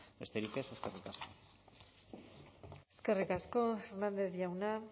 besterik ez eskerrik asko eskerrik asko hernández jauna